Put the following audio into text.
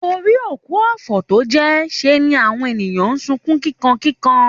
Torí òkú ọ̀fọ̀ tó jẹ́, ṣe ni àwọn ènìyàn ń sunkún kíkankíkan